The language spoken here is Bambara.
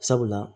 Sabula